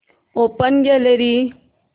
open gallery